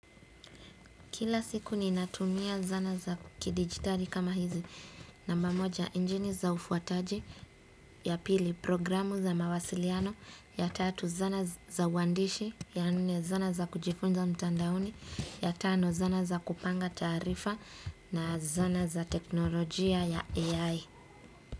Kila siku ninatumia zana za kidijitali kama hizi, namba moja injini za ufuataji, ya pili programu za mawasiliano, ya tatu zana za uandishi, ya nne zana za kujifunza mtandaoni, ya tano zana za kupanga taarifa, na zana za teknolojia ya AI.